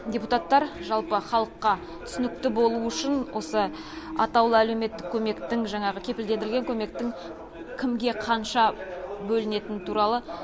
депутаттар жалпы халыққа түсінікті болу үшін осы атаулы әлеуметтік көмектің жаңағы кепілдендірілген көмектің кімге қанша бөлінетіні туралы